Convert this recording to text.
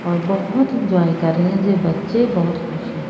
और बोहोत इंजॉय कर रहे हैं जे बच्चे बहोत खुश हैं।